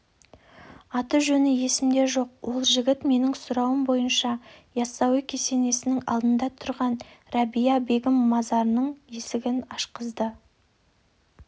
аты-жөні есімде жоқ ол жігіт менің сұрауым бойынша яссауи кесенесінің алдында тұрған рәбия бегім мазарының есігін ашқызды